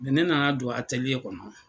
ne nana don ateliye kɔnɔ.